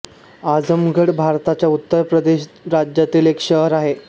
आझमगढ भारताच्या उत्तर प्रदेश राज्यातील एक शहर आहे